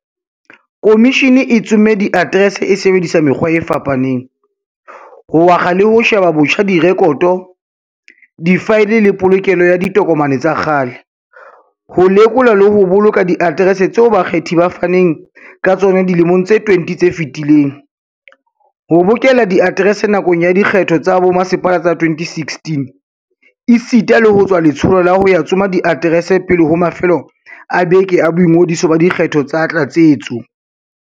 Khomishene e tsomme diaterese e sebedisa mekgwa e fapa neng, ho akga le ho sheba botjha direkoto, difaele le polokelo ya ditokomane tsa kgale, ho lekola le ho boloka diaterese tseo bakgethi ba faneng ka tsona dilemong tse 20 tse fetileng, ho bokella diaterese nakong ya dikgetho tsa bomasepala tsa 2016, esita le ho tswa letsholo la ho ya tsoma diaterese pele ho mafelo a beke a boingodiso ba dikgetho tsa tlatsetso.